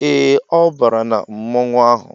Ee, ọ bàrà na mmọnwụ ụnyaahụ